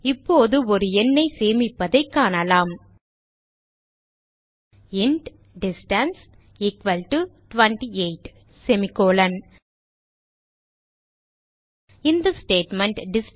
இப்போது ஒரு எண்ணை சேமிப்பதைக் காணலாம் இன்ட் டிஸ்டன்ஸ் எக்குவல் டோ 28 இந்த ஸ்டேட்மெண்ட்